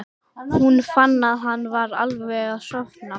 Hún fann að hann var alveg að sofna.